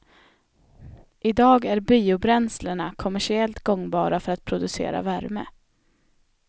I dag är biobränslena kommersiellt gångbara för att producera värme.